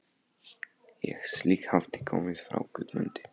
Ein slík hafði komið frá Guðmundi